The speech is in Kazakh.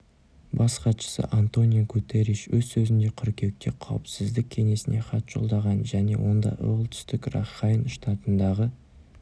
бас хатшысы антонио гутерриш өз сөзінде қыркүйекте қауіпсіздік кеңесіне хат жолдағанын және онда іолтүстік ракхайн штатындағы